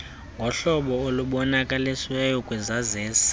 ngohlobo olubonakalisiweyo kwisaziso